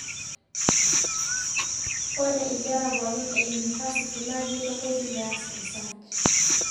Ore inkera pooki e unifasiti naa keitukuji peeas research.